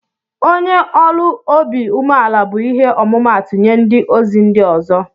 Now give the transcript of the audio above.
onye ọlụ ọbi umela bu ihe ọmụmatu nye ndi ozi ndi ọzọ.